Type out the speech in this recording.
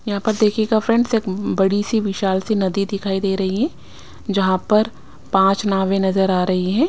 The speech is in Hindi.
यहां पर देखिएगा फ्रेंड्स एक बड़ी सी विशाल सी नदी दिखाई दे रही है जहां पर पांच नावें नजर आ रही है।